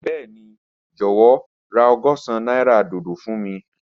Bẹẹni, jọwọ ra ọgọ́sán naira dodo fun mi.